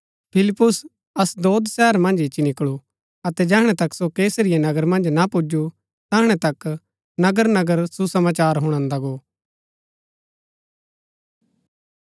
फिलिप्पुस अशदोद शहर मन्ज ईच्ची निकळू अतै जैहणै तक सो कैसरिया नगर मन्ज ना पुजु तैहणै तक नगर नगर सुसमाचार हुणान्दा गो